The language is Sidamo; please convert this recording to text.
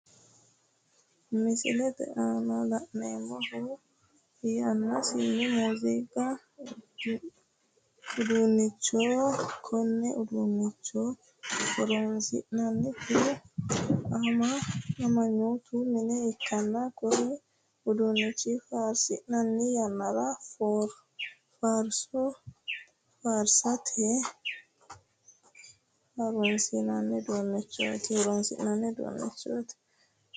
Misilete aanna la'neemohu yanaasincho muuziiqu uduunnichooti Kone uduunicho horoonsi'nannihu ama'note minne ikanna kunni uduunichi faarsinnanni yannara faarso faarsate horoonsi'nanni uduunichooti.